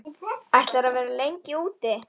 Ætlarðu að vera lengi úti?